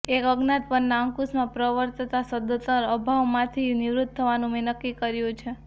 એક અજ્ઞાત પરના અંકુશમાં પ્રવર્તતા સદંતર અભાવમાંથી નિવૃત્ત થવાનું મેં નક્કી કર્યું છે